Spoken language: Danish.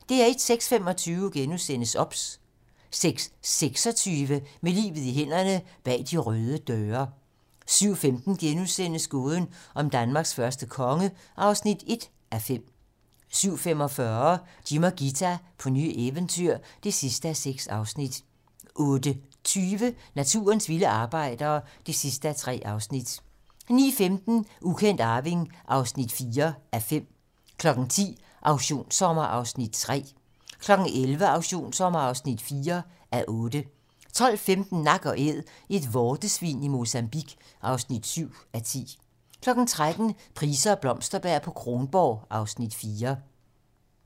06:25: OBS * 06:26: Med livet i hænderne: Bag de røde døre 07:15: Gåden om Danmarks første konge (1:5)* 07:45: Jim og Ghita på nye eventyr (6:6) 08:20: Naturens vilde arbejdere (3:3) 09:15: Ukendt arving (4:5) 10:00: Auktionssommer (3:8) 11:00: Auktionssommer (4:8) 12:15: Nak & Æd - et vortesvin i Mozambique (7:10) 13:00: Price og Blomsterberg på Kronborg (Afs. 4)